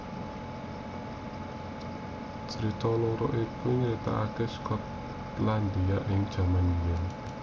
Crita loro iku nyritakaké Skotlandia ing jaman biyèn